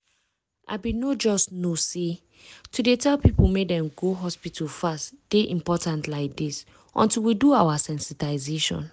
i bin no just know say to dey tell people make dem go hospital fast dey important like this until we do our sensitization.